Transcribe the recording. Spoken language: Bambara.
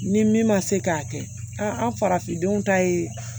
Ni min ma se k'a kɛ an farafindenw ta ye